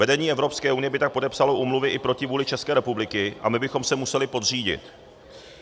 Vedení Evropské unie by tak podepsalo úmluvy i proti vůli České republiky a my bychom se museli podřídit.